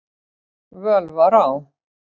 völ var á.